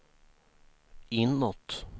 inåt